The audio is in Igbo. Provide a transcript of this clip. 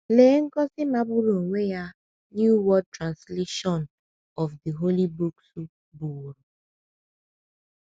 Lee ngọzi magburu onwe ya New World Translation New World Translation of the Holy books bụworo!